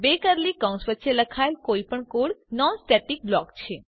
બે કર્લી કૌંસ વચ્ચે લખાયેલ કોઈ પણ કોડ નોન સ્ટેટિક બ્લોક છે